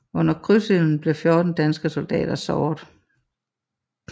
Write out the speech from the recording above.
Under krydsilden blev 14 danske soldater såret